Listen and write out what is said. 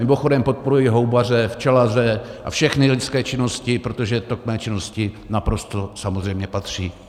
Mimochodem podporuji houbaře, včelaře a všechny lidské činnosti, protože to k mé činnosti naprosto samozřejmě patří.